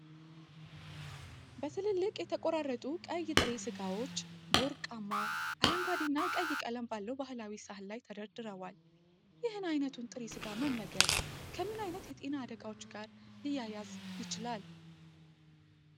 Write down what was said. በትልልቅ የተቆራረጡ ቀይ ጥሬ ሥጋዎች በወርቃማ፣ አረንጓዴና ቀይ ቀለም ባለው ባህላዊ ሰሃን ላይ ተደርድረዋል። ይህን ዓይነቱን ጥሬ ሥጋ መመገብ ከምን ዓይነት የጤና አደጋዎች ጋር ሊያያዝ ይችላል?